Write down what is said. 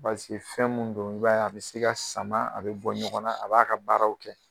fɛn min don b'a a bɛ se ka sama a bɛ bɔ ɲɔgɔn na a b'a ka baaraw kɛ